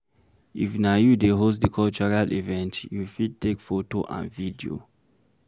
If na you dey host di cultural event, you fit take photo and video